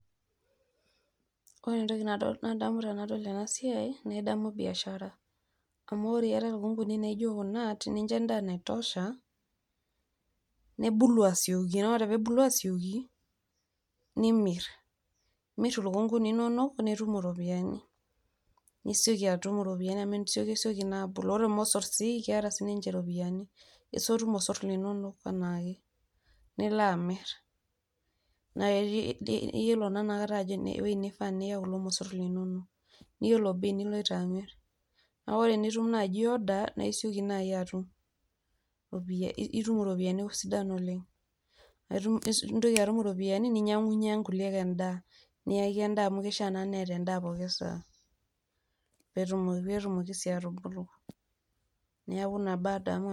Ore entoki nadol nadamu tenadol ena siai naa in`damu biashara amu ore iata lukunguni naijo kuna naa tenincho endaa naitosha nebulu asioki. naa ore pee ebulu asioki nimirr . imir ilukunguni inonok nitum iropiyiani ,nisioki atum iropiyiani amu isiokisioki naa abulu . ore irmosorr sii keeta sininche iropiyiani ,isotu irmosorr linonok anaake nila amirr .naa iyiolo naa inakata ewui nifaa piya kulo mosorr linonok ,niyiolo bei niloito amirr naa ore tenitum naji order naa isioki nai atum itum iropiyiani sidan oleng nintoki atum iropiyiani ninyangunyie kuliek endaa , niyaki endaa amu kishaa neeta endaa pooki saa peetumoki naa atubulu. niaku ina baa adamu.